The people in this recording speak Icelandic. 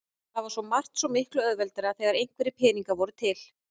Það var svo margt svo miklu auðveldara þegar einhverjir peningar voru til.